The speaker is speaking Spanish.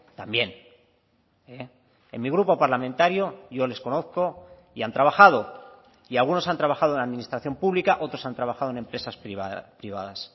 también en mi grupo parlamentario yo les conozco y han trabajado y algunos han trabajado en la administración pública otros han trabajado en empresas privadas